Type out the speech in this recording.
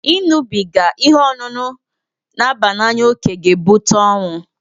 Ị ñụbiga ihe ọṅụṅụ n'aba n'anya oke ga-ebụta ọnwụ